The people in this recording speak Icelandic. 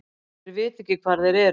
Þeir vita ekki hvar þeir eru.